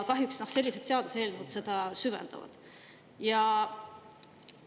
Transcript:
Kahjuks sellised seaduseelnõud süvendavad seda.